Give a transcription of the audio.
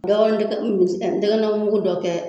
Dɔɔni n tɛgɛ min bɛ se ka, n tɛgɛna mugu dɔ kɛ.